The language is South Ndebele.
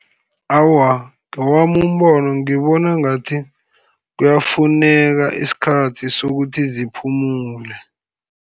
Awa, ngewami umbono, ngibona ngathi kuyafuneka isikhathi sokuthi ziphumule.